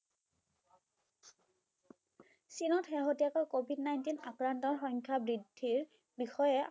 চীনত শেষতীয়াকৈ covid nineteen আক্ৰান্তৰ সংখ্যা বৃদ্ধিৰ বিষয়ে